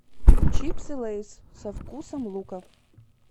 чипсы лейс со вкусом лука